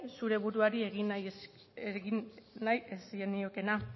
zure buruari egin nahi ez zeniokeena